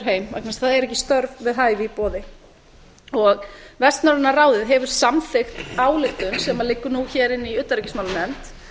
heim vegna þess að það eru ekki störf við hæfi í boði vestnorræna ráðið hefur samþykkt ályktun sem liggur nú hér inni í utanríkismálanefnd